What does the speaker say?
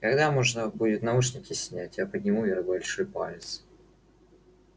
когда можно будет наушники снять я подниму вверх большой палец